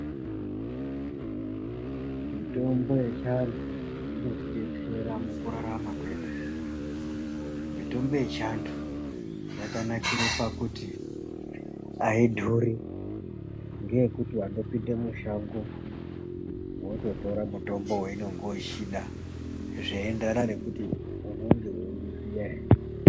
Mitombo yechianhu , inotidetsera mukurarama kwedu . Mitombo yechiantu ,yakanakire pakuti aidhuri, ngeyekuti wandopinde mushango, wototore mutombo waunenge uchida, zveienderana nekuti, unenge weiuziya ere.